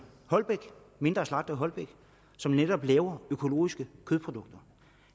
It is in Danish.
mindre slagter i holbæk som netop laver økologiske kødprodukter